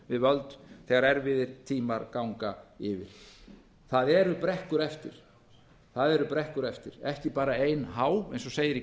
við völd þegar erfiðir tímar ganga yfir það eru brekkur eftir ekki bara ein há eins og segir í